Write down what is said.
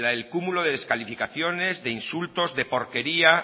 el cúmulo de descalificaciones de insultos de porquería